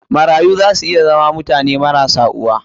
Marayu za su iya zama mutane marasa uwa.